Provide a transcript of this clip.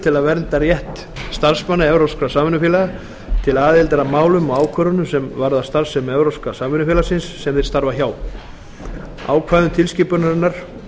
til að vernda rétt starfsmanna evrópskra samvinnufélaga til aðildar að málum og ákvörðunum sem varða starfsemi evrópska samvinnufélagsins sem þeir starfa hjá ákvæðum tilskipunarinnar